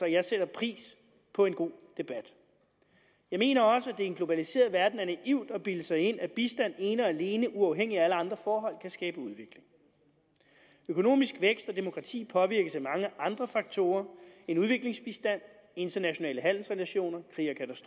jeg sætter pris på en god debat jeg mener også at det i en globaliseret verden er naivt at bilde sig ind at bistand ene og alene uafhængigt af alle andre forhold kan skabe udvikling økonomisk vækst og demokrati påvirkes af mange andre faktorer end udviklingsbistand internationale handelsrelationer krig